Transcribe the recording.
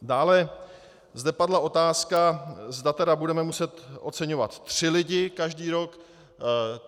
Dále zde padla otázka, zda tedy budeme muset oceňovat tři lidi každý rok.